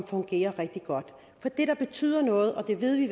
fungerer rigtig godt for det der betyder noget og det ved vi